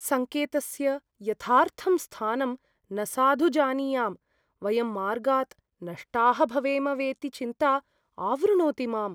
सङ्केतस्य यथार्थं स्थानं न साधु जानीयाम्। वयं मार्गात् नष्टाः भवेम वेति चिन्ता आवृणोति माम्।